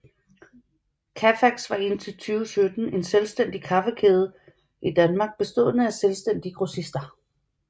Cafax var indtil 2017 en selvstændig kaffekæde i Danmark bestående af selvstændige grossister